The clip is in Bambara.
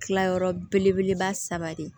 Kilayɔrɔ belebeleba saba de